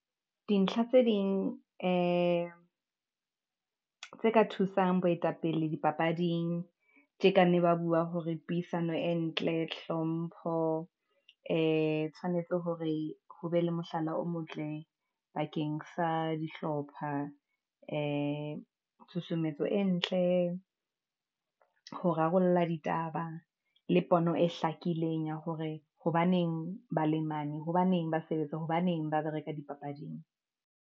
Dintlha tse ding ee tse ka thusang boetapele dipapading, tje, ka ne ba bua hore puisano e ntle, hlompho ee, tshwanetse hore ho be le mohlala o motle, bakeng sa dihlopha ee tshusumetso e ntle, ho rarolla ditaba le pono e hlakileng ya hore hobaneng bale mane, hobaneng ba sebetsa, hobaneng ba bereka dipapading.